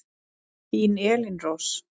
Þín Elín Rós.